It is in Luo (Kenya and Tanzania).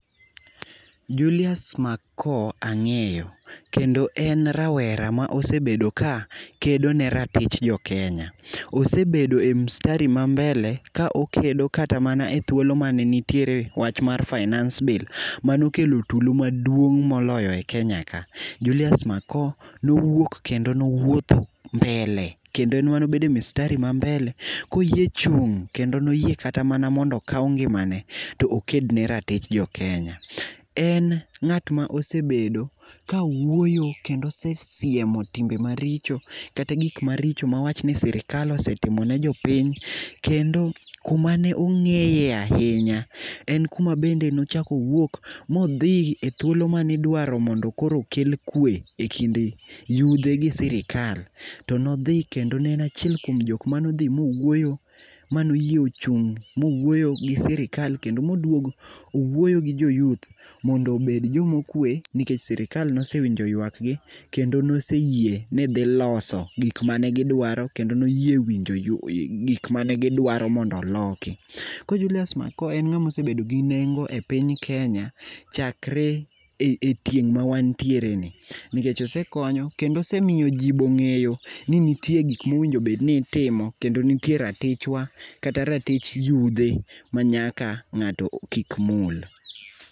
Julius mako ang'eyo kendo en rawera ma osebedo ka kedo ne ratich jokenya. Osebedo e mstari ma mbele ka okedo kata mana e thuolo mane ntiere wach mar finance bill manokelo tulo maduong' moloyo e kenya ka .Julius mako nowuok kendo nowuotho mbele kendo en ema nobedo e mstari ma mbele koyie chung' kendo noyie kata mondo okaw ngimane to oked ne ratich jokenya. En ng'at ma osebedo ka wuoyo kendo osesiemo timbe maricho kendo gik maricho mawach ni sirikal osetimo ne jopiny, kendo kuma ne ongeye ahinya en kuma bende nochak owuok modhi e thuolo mani dwaro mondo okel kwe e kind yudhe gi sirikal to nodhi kendo en achiel kuom joma nodhi mowuoyo mano yie chung' mowuoyo gi sirikal kendo moduog owuoyo gi joyuth mondo obed jomokwe nikech sirikal noweinjo ywak gi kendo noseyie ni dhi loso gik mane gidwaro kendo noyie winjo ywa gik mane gidwaro mondo oloki. Koro julius makao en ngama osebedo gi nengo e piny kenya chakre e e tieng' ma wantiere ni ,nikech osekonyo nikech osemiyo jii bong'eyo ni ntie gik mowinjo bed ni itimo kendo ntie ratichwa kata ratich yudhe ma ng'ato kik mul.